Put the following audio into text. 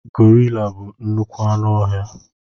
Gorila bụ nnukwu anụ ọhịa.